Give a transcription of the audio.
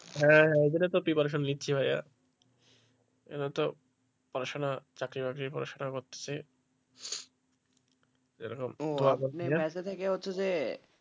হ্যাঁ হ্যাঁ ওই জন্য তো preparation নিচ্ছি ভাইয়া এটা তো পড়াশোনা চাকরি-বাকরি পড়াশোনা করতেছি,